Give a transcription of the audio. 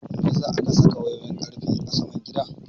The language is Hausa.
Meyasa aka saka wayoyin ƙarfe a saman gidan?